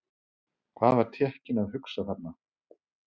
Hvað var Tékkinn að hugsa þarna?